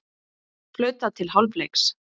Flautað til hálfleiks